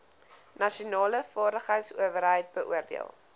nasionale vaardigheidsowerheid beoordeel